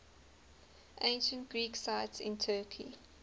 ancient greek sites in turkey